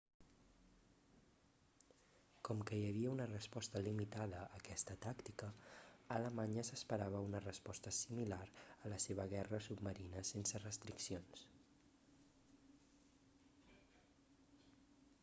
com que hi havia una resposta limitada a aquesta tàctica alemanya s'esperava una resposta similar a la seva guerra submarina sense restriccions